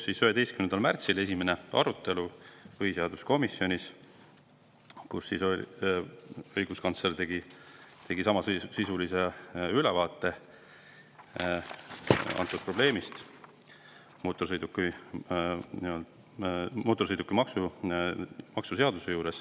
Esimene arutelu põhiseaduskomisjonis toimus 11. märtsil, kui õiguskantsler tegi samasisulise ülevaate antud probleemist mootorsõidukimaksu seaduse puhul.